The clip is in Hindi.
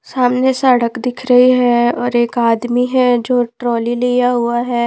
सामने सड़क दिख रही है और एक आदमी है जो ट्रॉली लिया हुआ है।